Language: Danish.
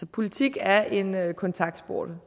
politik er en kontaktsport